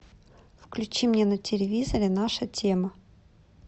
включи мне на телевизоре наша тема